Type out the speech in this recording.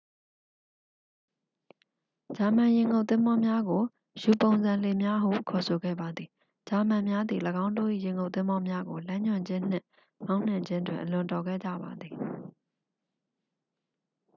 ဂျာမန်ရေငုပ်သင်္ဘောများကို ယူ-ပုံစံလှေများဟု ခေါ်ဆိုခဲ့ပါသည် ဂျာမန်များသည် ၎င်းတို့၏ရေငုပ်သင်္ဘောများကို လမ်းညွှန်ခြင်းနှင့် မောင်းနှင်ခြင်းတွင် အလွန်တော်ခဲ့ကြပါသည်